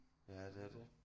Ja det er det